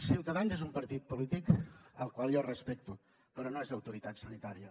ciutadans és un partit polític al qual jo respecto però no és autoritat sanitària